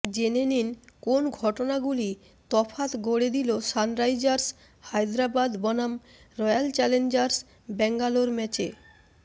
জেনে নিন কোন ঘটনাগুলি তফাত গড়ে দিল সানরাইজার্স হায়দরাবাদ বনাম রয়্যাল চ্যালেঞ্জার্স ব্যাঙ্গালোর ম্যাচে